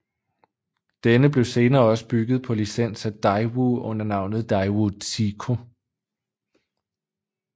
Denne blev senere også bygget på licens af Daewoo under navnet Daewoo Tico